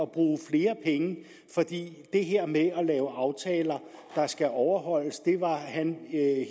bruge flere penge for det her med at lave aftaler der skulle overholdes var han